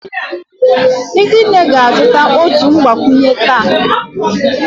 Ezinne ga-azụta otu mgbakwunye taa